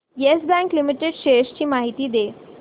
yes Bank limited shares ची माहिती दे